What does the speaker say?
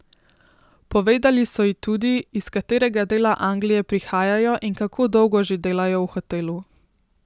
Povedali so ji tudi, iz katerega dela Anglije prihajajo in kako dolgo že delajo v hotelu.